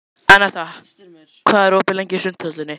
Anetta, hvað er opið lengi í Sundhöllinni?